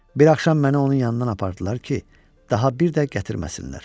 Bir axşam məni onun yanından apardılar ki, daha bir də gətirməsinlər.